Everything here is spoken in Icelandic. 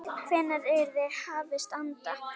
Hvenær yrði hafist handa?